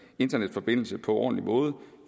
internetforbindelse på en ordentlig måde